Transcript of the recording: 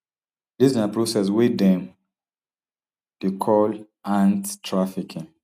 dis na process wey dem dey call ant trafficking